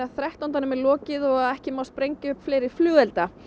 þrettándanum er lokið og ekki má sprengja upp fleiri flugelda